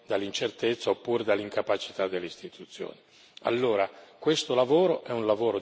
Allora questo lavoro è un lavoro di grandissima utilità, che vorremmo fare insieme.